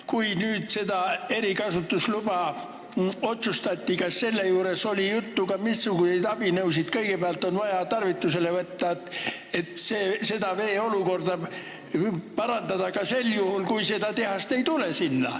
Kui nüüd seda erikasutusluba otsustati, kas oli siis juttu, missuguseid abinõusid kõigepealt on vaja tarvitusele võtta, et vee olukorda parandada ka sel juhul, kui seda tehast sinna ei tule?